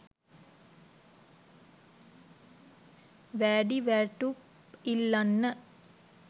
වෑඩි වෑටුප් ඉල්ලන්න.